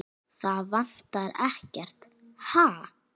Það vantar ekkert, ha?